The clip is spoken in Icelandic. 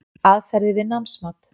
Aðferðir við námsmat